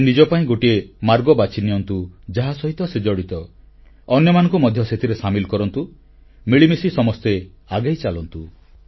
ସେ ନିଜ ପାଇଁ ଗୋଟିଏ ମାର୍ଗ ବାଛି ନିଅନ୍ତୁ ଯାହା ସହିତ ସେ ଜଡ଼ିତ ଅନ୍ୟମାନଙ୍କୁ ମଧ୍ୟ ସେଥିରେ ସାମିଲ କରନ୍ତୁ ମିଳିମିଶି ସମସ୍ତେ ଆଗେଇ ଚାଲନ୍ତୁ